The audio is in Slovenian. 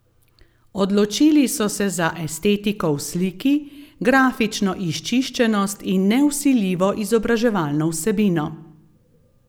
Odločili so se za estetiko v sliki, grafično izčiščenost in nevsiljivo, izobraževalno vsebino.